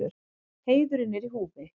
Heiðurinn er í húfi.